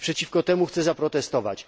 I przeciwko temu chcę zaprotestować.